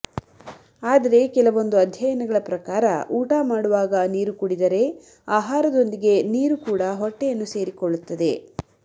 ಆದರೆ ಕೆಲವೊಂದು ಅಧ್ಯಯನಗಳ ಪ್ರಕಾರ ಊಟ ಮಾಡುವಾಗ ನೀರು ಕುಡಿದರೆ ಆಹಾರದೊಂದಿಗೆ ನೀರು ಕೂಡ ಹೊಟ್ಟೆಯನ್ನು ಸೇರಿಕೊಳ್ಳುತ್ತದೆ